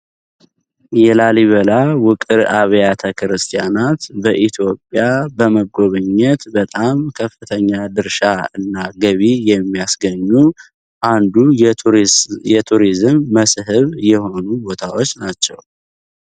የላሊበላ ውቅር አብያተ ክርስቲያናት በኢትዮጵያ በጣም በመጎብኘት ከፍተኛ ገቢ የሚያስገኙ የቱሪዝም የሆኑ ቦታዎች ናቸው።